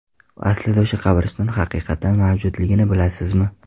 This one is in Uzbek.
Aslida o‘sha qabriston haqiqatan mavjudligini bilasizmi?